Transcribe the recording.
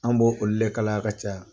An bo olu de kala ya ka caya.